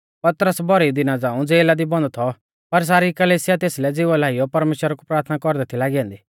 पतरस भौरी दिना झ़ाऊं ज़ेला दी बन्द थौ पर सारी कलिसिया तेसलै ज़िवा लाइयौ परमेश्‍वरा कु प्राथना कौरदै थी लागी ऐन्दी